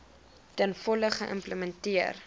ten volle geïmplementeer